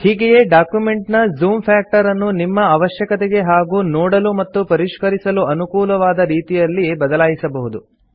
ಹೀಗೆಯೇ ಡಾಕ್ಯುಮೆಂಟ್ ನ zoom factor ಅನ್ನು ನಿಮ್ಮ ಅವಶ್ಯಕತೆಗೆ ಹಾಗೂ ನೋಡಲು ಮತ್ತು ಪರಿಷ್ಕರಿಸಲು ಅನುಕೂಲವಾದ ರೀತಿಯಲ್ಲಿ ಬದಲಾಯಿಸಬಹುದು